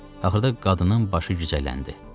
Axırda qadının başı gicəlləndi.